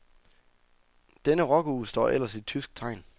Denne rockuge står ellers i tysk tegn.